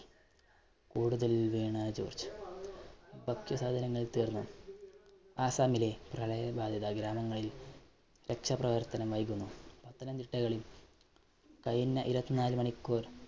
കൂടുതല്‍ വീണാ ജോര്‍ജ്. ഭക്ഷ്യസാധനങ്ങള്‍ തീര്‍ന്നു ആസ്സാമ്മിലെ പ്രളയ ബാധിതാ ഗ്രാമങ്ങളില്‍ രക്ഷാപ്രവര്‍ത്തനം നല്‍കുന്നു. പത്തനംതിട്ടകളില്‍ കഴിഞ്ഞ ഇരുപത്തിനാലു മണിക്കൂര്‍